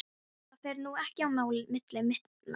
Það fer nú ekki á milli mála